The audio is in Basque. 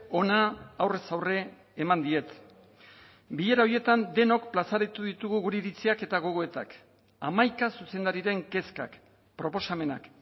ona aurrez aurre eman diet bilera horietan denok plazaratu ditugu gure iritziak eta gogoetak hamaika zuzendariren kezkak proposamenak